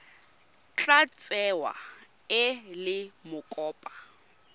tla tsewa e le mokopa